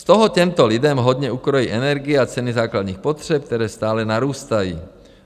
Z toho těmto lidem hodně ukrojí energie a ceny základních potřeb, které stále narůstají.